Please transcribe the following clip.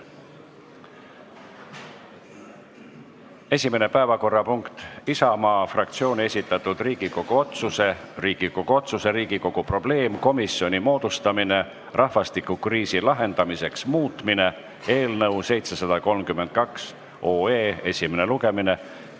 Esimene päevakorrapunkt on Isamaa fraktsiooni esitatud Riigikogu otsuse "Riigikogu otsuse "Riigikogu probleemkomisjoni moodustamine rahvastikukriisi lahendamiseks" muutmine" eelnõu 732 esimene lugemine.